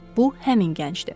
Bu həmin gəncdir.